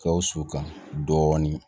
Gawusu kan dɔɔnin